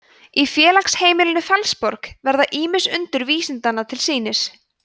í félagsheimilinu fellsborg verða ýmis undur vísindanna til sýnis